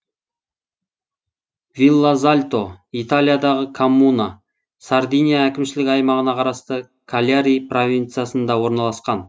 виллазальто италиядағы коммуна сардиния әкімшілік аймағына қарасты кальяри провинциясында орналасқан